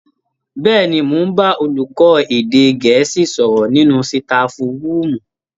Bẹ́ẹ̀ni, mò ń bá olùkọ́ èdè Gẹ̀ẹ́sì sọ̀rọ̀ nínú sitafu rúùmù